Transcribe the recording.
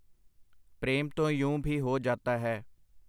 ਪ੍ਰੇਮ ਤੋ ਯੂੰ ਭੀ ਹੋ ਜਾਤਾ ਹੈ .